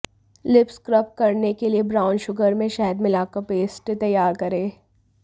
lip scrub करने के लिए ब्राउन शुगर में शहद मिला कर पेस्ट तैयार करें